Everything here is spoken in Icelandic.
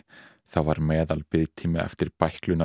þá var meðalbiðtími eftir